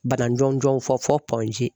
Bana jɔnjɔn fɔ